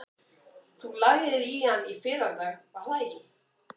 Þú lagðir í hann í fyrradag, var það ekki?